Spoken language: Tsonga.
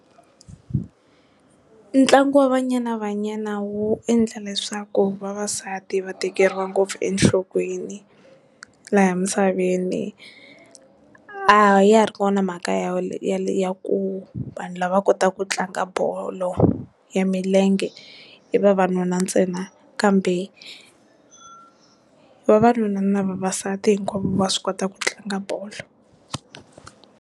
Ntlangu wa Banyana Banyana wu endla leswaku vavasati va tekeriwa ngopfu enhlokweni laha misaveni a ya ha ri kona mhaka ya ya ku vanhu lava kotaku ku tlanga bolo ya milenge i vavanuna ntsena kambe vavanuna na vavasati hinkwavo va swi kota ku tlanga bolo.